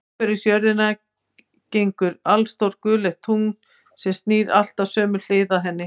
Umhverfis jörðina gengur allstórt gulleitt tungl, sem snýr alltaf sömu hlið að henni.